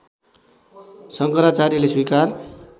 शङ्कराचार्यले स्वीकार